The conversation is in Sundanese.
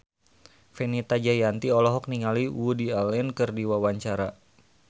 Fenita Jayanti olohok ningali Woody Allen keur diwawancara